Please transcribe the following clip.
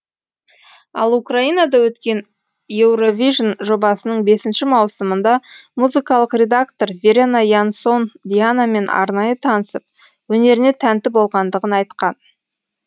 ал украинада өткен еуровижн жобасының бесінші маусымында музыкалық редактор верена янсон дианамен арнайы танысып өнеріне тәнті болғандығын айтқан